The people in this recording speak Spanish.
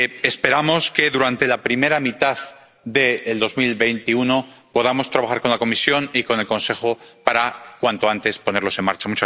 Esperamos que durante la primera mitad de 2021 podamos trabajar con la Comisión y con el Consejo para, cuanto antes, ponerlos en marcha.